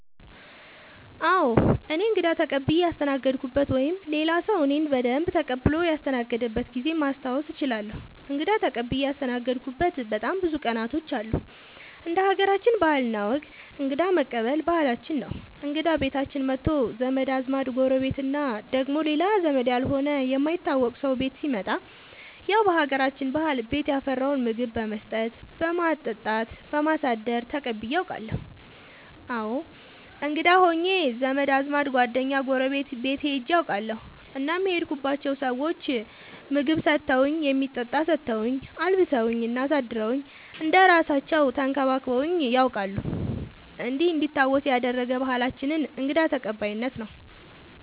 አዎ እኔ እንግዳ ተቀብየ ያስተናገድኩበት ወይም ሌላ ሰዉ እኔን በደንብ ተቀብሎ ያስተናገደበት ጊዜ ማስታወስ እችላለሁ። እንግዳ ተቀብዬ ያስተናገድሁበት በጣም ብዙ ቀናቶች አሉ እንደ ሀገራችን ባህል እና ወግ እንግዳ መቀበል ባህላችን ነው እንግዳ ቤታችን መቶ ዘመድ አዝማድ ጎረቤት እና ደግሞ ሌላ ዘመድ ያልሆነ የማይታወቅ ሰው ቤት ሲመጣ ያው በሀገራችን ባህል ቤት ያፈራውን ምግብ በመስጠት በማጠጣት በማሳደር ተቀብዬ አውቃለሁ። እኔም እንግዳ ሆኜ ዘመድ አዝማድ ጓደኛ ጎረቤት ቤት ሄጄ አውቃለሁ እናም የሄድኩባቸው ሰዎች ምግብ ሰተውኝ የሚጠጣ ሰተውኝ አልብሰውኝ እና አሳድረውኝ እንደ እራሳለው ተንከባክበውኝ ነያውቃሉ እንዲህ እንዲታወስ ያደረገ ባህላችንን እንግዳ ተቀባይነት ነው።